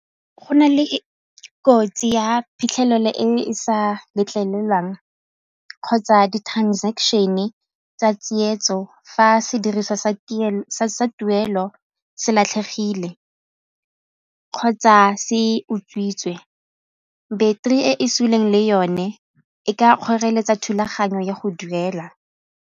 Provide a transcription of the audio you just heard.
Go na le kotsi ya phitlhelelo e e sa letlelelwang kgotsa di-transaction-e tsa tsietso fa sediriswa sa tuelo se latlhegile kgotsa se utswitswe beteri e e suleng le yone e ka kgoreletsa thulaganyo ya go duela.